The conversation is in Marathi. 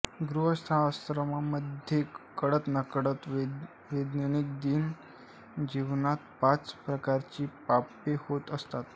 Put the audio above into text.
गृहस्थाश्रमामध्ये कळतनकळत दैनंदिन जीवनात पाच प्रकारची पापे होत असतात